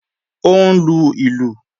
Ó ń lu ìlù